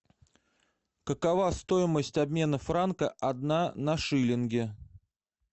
какова стоимость обмена франка одна на шиллинги